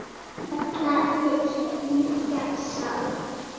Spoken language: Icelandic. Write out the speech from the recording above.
Fjalla milli liggja sá.